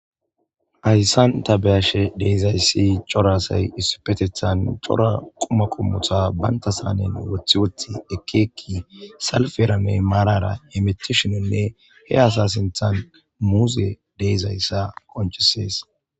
Haysan ta beyashe dizaysi c'ora asay issippetethan c'ora quma qommota banta saneni wothiwothi ekki ekki salperanne marara hemutishine he asa sintha muze de'izaysa qonc'isses.